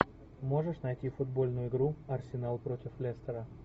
можешь найти футбольную игру арсенал против лестера